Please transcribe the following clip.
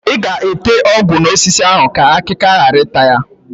Ị ga-ete ọgwụ n'osisi ahụ ka akịka ghara ịta ya?